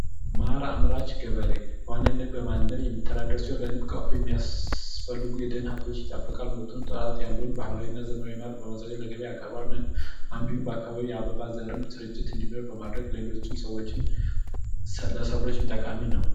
ማር አምራች ገበሬ ንብ በማነብ የሚተዳደር ሲሆን ለንብ ቀፎ የሚያስፈልጉ የደን ሀብቶችን ይጠብቃል ባህላዊና ዘመናዊ የማር ቀፎዎችን በማዘጋጀት ማር ያቀርባል ከዚህም በተጨማሪ የአካባቢው የአበባ ስርጭት እንዲኖር በማድረግ ለሌሎች ሰብሎችም ጠቃሚ ነው።